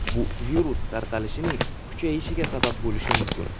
Bu virus tarqalishining kuchayishiga sabab bo‘lishi mumkin.